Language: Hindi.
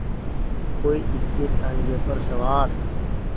कोई इक्केताँगे पर सवार